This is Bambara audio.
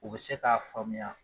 U bi se k'a faamuya